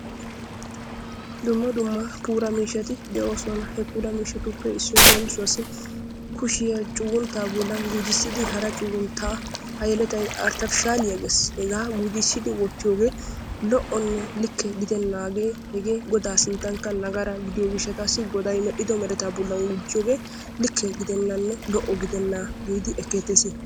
dumma dumma puula miishshati de'oosona. he puula miishshatuppe leemisuwaassi kushiyaa cugunttaa gujissidi hara cugunttaa ha yeletay artefishshaliyaa gees hegaa gujissidi wottiyoogee lo'onne likke gidennagee hegee godaa sinttankka nagara gidiyoo gishshataassi goday medhdhido meretaa bollan gujjiyoogee likke gidennanne lo'o gidenna giidi ekkeettees.